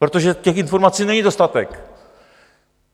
Protože těch informací není dostatek.